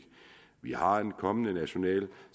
vi har en kommende national